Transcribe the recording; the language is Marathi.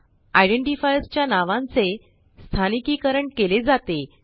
आयडेंटिफायर्स च्या नावांचे स्थानिकीकरण केले जाते